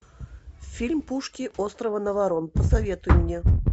фильм пушки острова наварон посоветуй мне